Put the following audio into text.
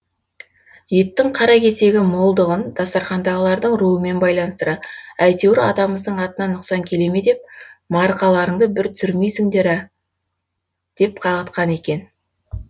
еттің қара кесегі молдығын дастархандағылардың руымен байланыстыра әйтеуір атамыздың атына нұқсан келе ме деп маркаларыңды бір түсірмейсіңдер ә деп қағытқан екен